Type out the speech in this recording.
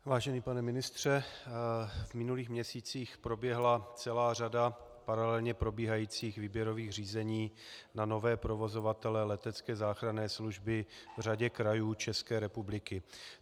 Vážený pane ministře, v minulých měsících proběhla celá řada paralelně probíhajících výběrových řízení na nové provozovatele letecké záchranné služby v řadě krajů České republiky.